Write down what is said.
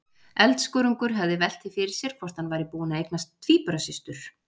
Eldskörungur hefði velt því fyrir sér hvort hann væri búinn að eignast tvíburasystur!